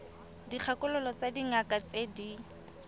dikgakololo tsa dingaka tse di